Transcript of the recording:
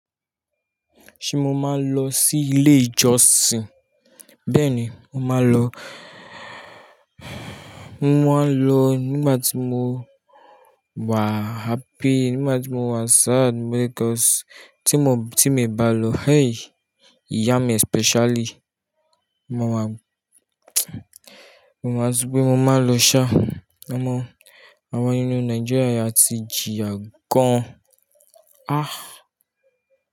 Ṣé mo máa lọ sí ilé ìjọsìn? Bẹ́ẹ̀ni, mo máa lọ. Mo máa lọ nígbàtí mo wà happy, nígbàtí mo wà sad because ti mo, tí mo bá lọ, hey! Ìyá mi especially. Mo máa, mo máa, torípé mo máa lọ ṣá. A mọ̀, àwọn inú Nigeria ti jìyà gàan. Ah!